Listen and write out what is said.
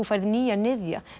fæ nýjan niðja